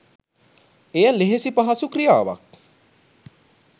එය ලෙහෙසි පහසු ක්‍රියාවක්